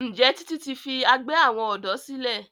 Njé Titi ti fí àgbè àwọn odò sílè?